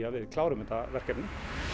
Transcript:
að við klárum þetta verkefni